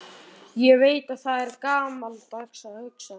Ég veit að það er gamaldags að hugsa þannig.